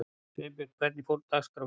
Sveinjón, hvernig er dagskráin í dag?